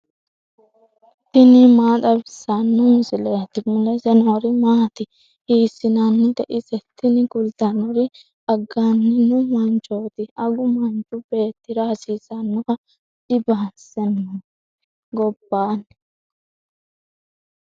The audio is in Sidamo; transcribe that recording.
tini maa xawissanno misileeti ? mulese noori maati ? hiissinannite ise ? tini kultannori. agannino manchooti. agu manchu beettira hasiisannoho dinbisannori gobbaanni.